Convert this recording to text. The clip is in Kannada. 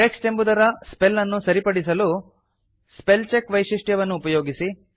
ಟೆಕ್ಸ್ಟ್ ಎಂಬುದರ ಸ್ಪೆಲ್ ಅನ್ನು ಸರಿಪಡಿಸಲು ಸ್ಪೆಲ್ಚೆಕ್ ವೈಶಿಷ್ಟ್ಯವನ್ನು ಉಪಯೋಗಿಸಿ